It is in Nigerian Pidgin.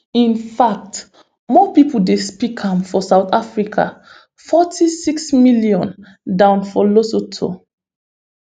in fact more pipo dey speak am for south africa forty-six million dan for lesotho